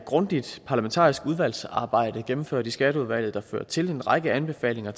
grundigt parlamentarisk udvalgsarbejde gennemført i skatteudvalget der har ført til en række anbefalinger